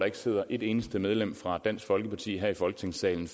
ikke sidder et eneste medlem fra dansk folkeparti her i folketingssalen